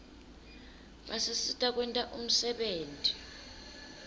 basisita kwenta umsebenti